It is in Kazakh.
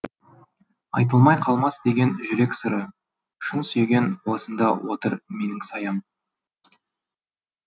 айтылмай қалмас деген жүрек сыры шын сүйген осында отыр менің саям